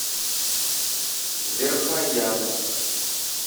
верхоянск